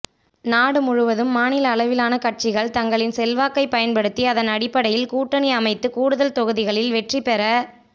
நாடு முழுவதும் மாநில அளவிலான கட்சிகள் தங்களின் செல்வாக்கை பயன்படுத்தி அதன் அடிப்படையில் கூட்டணி அமைத்து கூடுதல் தொகுதிகளில் வெற்றிபெற